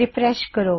refresh ਕਰੋ